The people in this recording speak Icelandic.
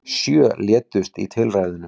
Sjö létust í tilræðunum